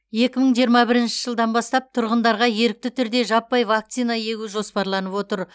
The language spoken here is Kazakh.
екі мың жиырма бірінші жылдан бастап тұрғындарға ерікті түрде жаппай вакцина егу жоспарланып отыр